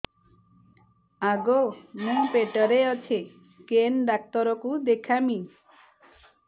ଆଗୋ ମୁଁ ପେଟରେ ଅଛେ କେନ୍ ଡାକ୍ତର କୁ ଦେଖାମି